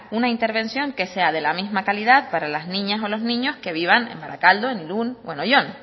una intervención que sea de la misma calidad para las niñas o los niños que vivan en barakaldo en irún o en oyón